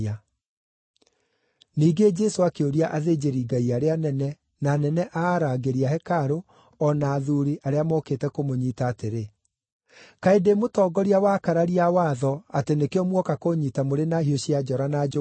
Ningĩ Jesũ akĩũria athĩnjĩrĩ-Ngai arĩa anene, na anene a arangĩri a hekarũ, o na athuuri, arĩa mookĩte kũmũnyiita atĩrĩ, “Kaĩ ndĩ mũtongoria wa akararia a watho, atĩ nĩkĩo muoka kũũnyiita mũrĩ na hiũ cia njora na njũgũma?